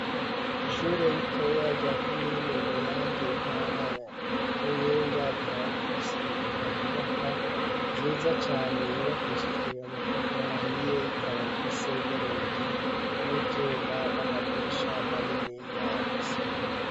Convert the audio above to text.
Ishuri ritoya rya komine muyange intara ya Muyinga rikaba rifise inyubakwa nziza cane yibakishijwe amatafari ahiye ikaba ifise n'urugi rw'ivyuma n'amadirisha maniniya afise ibiyo.